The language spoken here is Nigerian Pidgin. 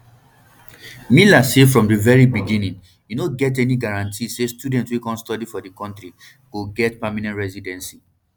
miller say from di very beginning e no get any guarantee say students wey come study for di kontri go get permanent residency